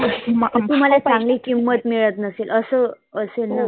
तुम्हाला चांगली किंमत मिळत नसेल असं असेल.